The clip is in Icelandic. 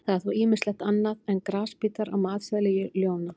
Það er þó ýmislegt annað en grasbítar á matseðli ljóna.